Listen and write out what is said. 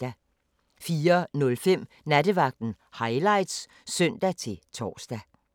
04:05: Nattevagten Highlights (søn-tor)